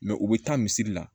u bɛ taa misiri la